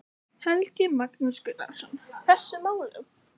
Helgi Magnús Gunnarsson: Þessum málum?